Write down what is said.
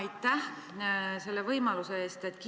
Aitäh selle võimaluse eest!